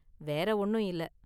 வேற ஒன்னும் இல்ல.